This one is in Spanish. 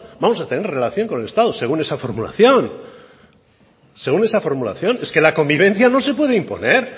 vamos a tener relación con el estado según esa formulación según esa formulación es que la convivencia no se puede imponer